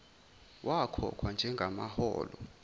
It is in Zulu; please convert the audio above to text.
wakhokhwa njenga maholo